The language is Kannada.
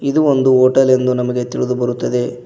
ಇದು ಒಂದು ಹೋಟೆಲ್ ಎಂದು ನಮಗೆ ತಿಳಿದು ಬರುತ್ತದೆ.